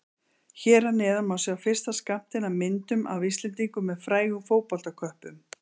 Hér að neðan má sjá fyrsta skammtinn af myndum af Íslendingum með frægum fótboltaköppum.